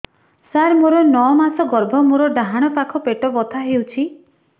ସାର ମୋର ନଅ ମାସ ଗର୍ଭ ମୋର ଡାହାଣ ପାଖ ପେଟ ବଥା ହେଉଛି